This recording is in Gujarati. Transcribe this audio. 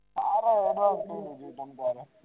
તારો advance નહી તો પણ ચાલે